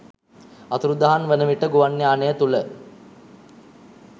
අතුරුදහන් වන විට ගුවන් යානය තුළ